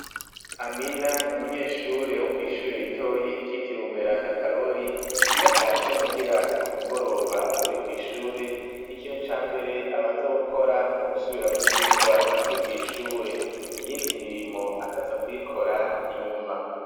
Amina umunyeshure wo kw'ishure ritoyi ryitiriwe umweranda Karori iyatashe mu hira ku mugoroba avuye kw'ishure ikintu cambere abanze gukora no gusubiramwo ivyirwa yize kw'ishure iyindi mirimo akaza kuyikora inyuma.